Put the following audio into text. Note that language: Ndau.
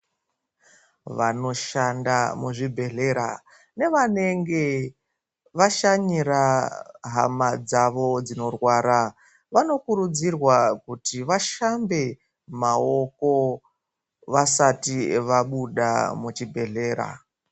Vanoshanda muzvibhedhlera nevanenge vashanyira hama dzavo dzinorwara. Vanokurudzirwa kuti vashambe maoko vasati vabuda muchibhedhlera.